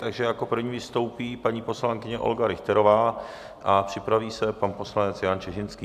Takže jako první vystoupí paní poslankyně Olga Richterová a připraví se pan poslanec Jan Čižinský.